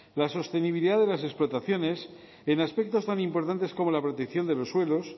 la sostenibilidad de las explotaciones en aspectos tan importantes como la protección de los suelos